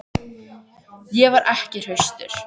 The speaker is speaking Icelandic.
Ég var ekki hraustur.